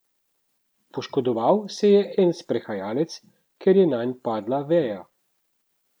Poškodoval se je en sprehajalec, ker je nanj padla veja.